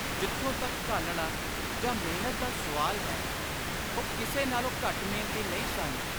ਜਿਥੋਂ ਤਕ ‘ਘਾਲਣਾ’ ਜਾਂ ‘ਮਿਹਨਤ’ ਦਾ ਸੁਆਲ ਹੈ, ਉਹ ਕਿਸੇ ਨਾਲੋਂ ਘੱਟ ਮਿਹਨਤੀ ਨਹੀਂ ਸਨ।